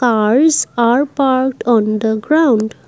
cars are parked on the ground.